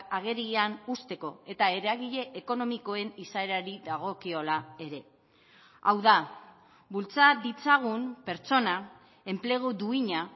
agerian uzteko eta eragile ekonomikoen izaerari dagokiola ere hau da bultza ditzagun pertsona enplegu duina